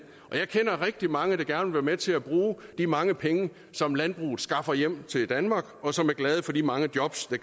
og jeg kender rigtig mange der gerne vil være med til at bruge de mange penge som landbruget skaffer hjem til danmark og som er glade for de mange jobs der